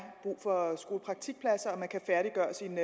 brug for skolepraktikpladser og for at man kan færdiggøre sin